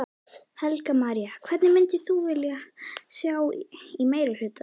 Helga María: Hvern myndir þú vilja sjá í meirihluta?